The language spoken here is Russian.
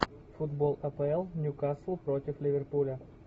футбол апл ньюкасл против ливерпуля